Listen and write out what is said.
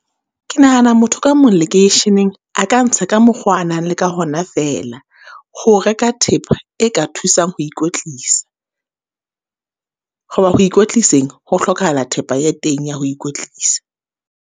Ke nahana motho ka mong lekeisheneng, a ka ntsha ka mokgo a nang le ka hona fela. Ho reka thepa e ka thusang ho ikwetlisa. Hoba ho ikwetliseng, ho hlokahala thepa ya teng ya ho ikwetlisa.